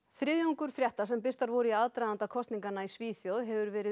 þriðjungur frétta sem birtar voru í aðdraganda kosninganna í Svíþjóð hefur verið